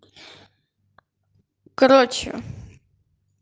короче